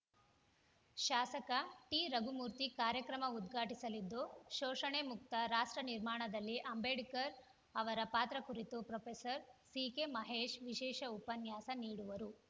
ಶಾಸಕ ಟಿರಘುಮೂರ್ತಿ ಕಾರ್ಯಕ್ರಮ ಉದ್ಘಾಟಿಸಲಿದ್ದು ಶೋಷಣೆ ಮುಕ್ತ ರಾಷ್ಟ್ರ ನಿರ್ಮಾಣದಲ್ಲಿ ಅಂಬೇಡ್ಕರ್‌ ಅವರ ಪಾತ್ರ ಕುರಿತು ಪ್ರೊಫೆಸರ್ ಸಿಕೆಮಹೇಶ್‌ ವಿಶೇಷ ಉಪನ್ಯಾಸ ನೀಡುವರು